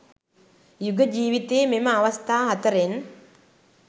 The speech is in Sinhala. යුග ජීවිතයේ මෙම අවස්ථා හතරෙන්